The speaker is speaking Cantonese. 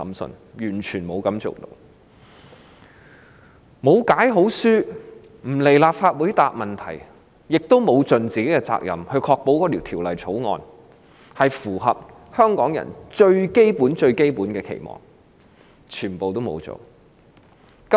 律政司司長沒有好好解說、沒有來立法會回答問題，也沒有善盡責任，確保《條例草案》符合香港人最基本的期望。